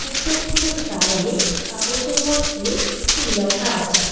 শেলফগুলির গায়ে কাগজের মধ্যে কিছু ল্যাখা আছে।